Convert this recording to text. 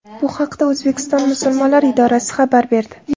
Bu haqda O‘zbekiston musulmonlar idorasi xabar berdi.